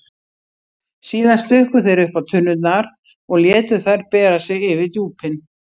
Síðan stukku þeir uppá tunnurnar og létu þær bera sig yfir djúpin.